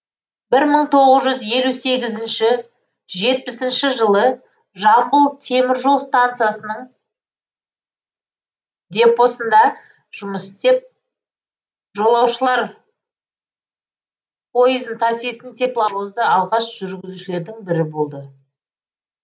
бір мың тоғыз жүз елу сегізінші жетпісінші жылы жамбыл темір жол стансасының депосында жұмыс істеп жолауышалр поезін таситын тепловозды алғаш жүргізушілердің бірі болды